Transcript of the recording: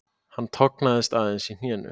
Hann tognaði aðeins í hnénu